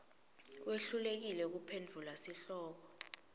wehlulekile kuphendvula sihloko